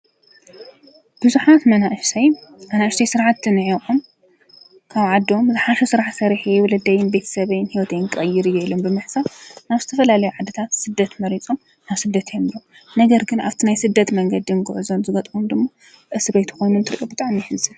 ቡዝሓት መናእሰይ ኣናእሽተይ ስራሕቲ ኒዕቆም ካብ ዓዶም ዝሓሸ ስራሕ ሰሪሐ ወለደይን ቤተሰበይን ሂወተይን ክቅይር እየ ኢሎም ብምሕሳብ ናብ ዝተፈላለዩ ዓድታት ስደት መሪፆም ናብ ስደት የምርሑ። ነገር ግን ኣብቲ ናይቲ ስደት መንገድን ጉዕዞን ዝጋጥሞም ድማ እስርቤት ኮይኑ እንትሪኦ ብጣዕሚ የሕዘን።